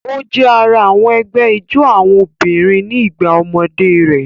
O jẹ àrà àwọn ẹgbẹ ijó àwọn obìnrin ní igbà ọmọdé rẹ.